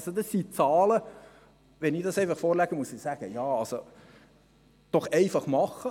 Das sind Zahlen, und wenn ich diese vorlege, muss ich sagen: einfach machen.